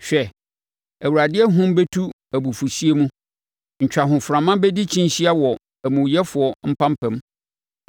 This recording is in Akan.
Hwɛ, Awurade ahum bɛtu abufuhyeɛ mu, ntwahoframa bɛdi kyinhyia wɔ amumuyɛfoɔ mpampam.